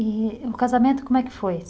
E o casamento, como é que foi?